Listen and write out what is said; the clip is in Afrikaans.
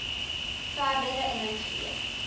verdere inhoud gee